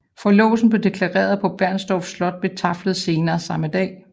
Forlovelsen blev deklareret på Bernstorff Slot ved taflet senere samme dag